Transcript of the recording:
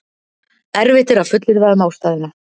erfitt er að fullyrða um ástæðuna